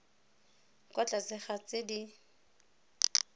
kwa tlase ga tse di